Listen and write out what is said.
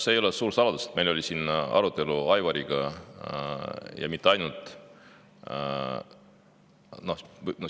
See ei ole suur saladus, et meil oli siin arutelu Aivariga, ja mitte ainult.